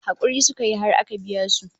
Hakuri suka yi har aka biya su